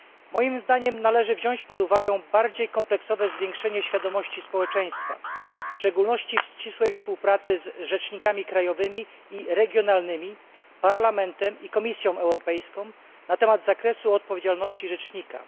Moim zdaniem należy wziąć pod uwagę bardziej kompleksowe zwiększenie świadomości społeczeństwa, w szczególności w ścisłej współpracy z rzecznikami krajowymi i regionalnymi, Parlamentem i Komisją Europejską na temat zakresu odpowiedzialności rzecznika.